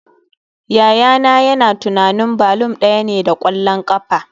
Yayana yana tunanin balloon daya ne da kwallon kafa